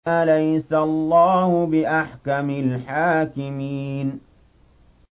أَلَيْسَ اللَّهُ بِأَحْكَمِ الْحَاكِمِينَ